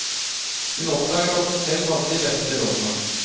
Hun oppdaget at hun selv hadde de beste rådene.